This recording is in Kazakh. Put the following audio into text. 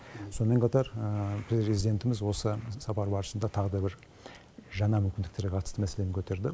сонымен қатар президентіміз осы сапар барысында тағы да жаңа мүмкіндерге қатысты мәселені көтерді